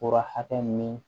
Fura hakɛ min